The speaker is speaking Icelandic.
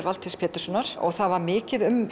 Valtýs Péturssonar það var mikið um